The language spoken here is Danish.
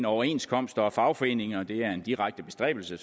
overenskomster og fagforeninger det er en direkte bestræbelse